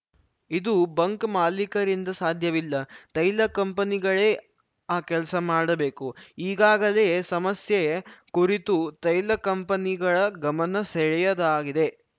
ಇದು ಬಂಕ್‌ ಮಾಲಿಕರಿಂದ ಸಾಧ್ಯವಿಲ್ಲ ತೈಲ ಕಂಪನಿಗಳೇ ಆ ಕೆಲಸ ಮಾಡಬೇಕು ಈಗಾಗಲೇ ಸಮಸ್ಯೆ ಕುರಿತು ತೈಲ ಕಂಪನಿಗಳ ಗಮನ ಸೆಳೆಯದಾಗಿದೆ